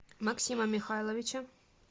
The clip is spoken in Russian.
максима михайловича